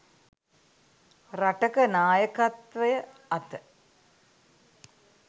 රටක නායකත්වය අත